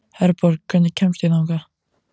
Herborg, hvernig kemst ég þangað?